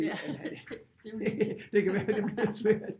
Det kan være det bliver svært